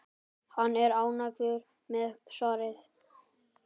Hann er ánægður með svarið.